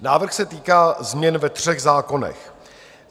Návrh se týká změn ve třech zákonech.